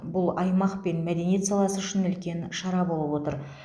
бұл аймақ пен мәдениет саласы үшін үлкен шара болып отыр